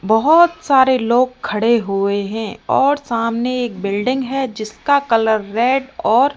बहोत सारे लोग खड़े हुए हैं और सामने एक बिल्डिंग है जिसका कलर रेड और --